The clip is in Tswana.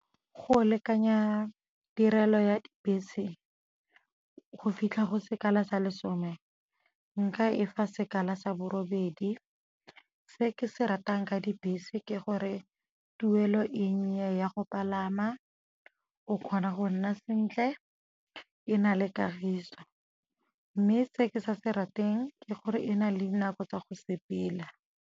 Go lekanya tirelo ya dibese go fitlha go sekala sa lesome, nka e fa sekala sa borobedi. Se ke se ratang ka dibese ke gore tuelo e nnye ya go palama, o kgona go nna sentle e na le kagiso. Mme se ke sa se rateng ke gore e na le dinako tsa go sepela.